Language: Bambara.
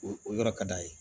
O o yɔrɔ ka d'a ye